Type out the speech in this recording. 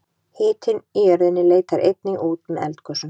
hitinn í jörðinni leitar einnig út með eldgosum